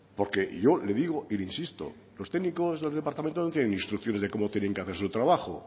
porque yo le digo y le insisto los técnicos del departamento no tienen instrucciones de cómo tienen que hacer su trabajo